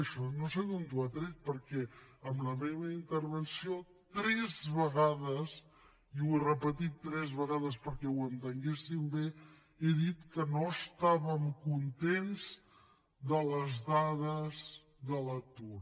això no sé d’on ho ha tret perquè en la meva intervenció tres vegades i ho he repetit tres vegades perquè ho entenguessin bé he dit que no estàvem contents de les dades de l’atur